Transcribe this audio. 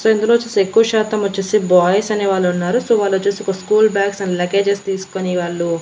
So ఇందులో ఓచ్చేసి ఎక్కువ శాతం వచ్చేసి బాయ్స్ అనే వాళ్ళు ఉన్నారు. సో వాళ్ళు వచ్చేసి స్కూల్ బ్యాగ్స్ ఆండ్ లగేజెస్ తీసుకునే వాళ్ళు --